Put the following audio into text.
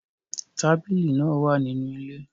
Tabili naa wa ninu ile